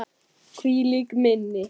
Hvílíkt minni!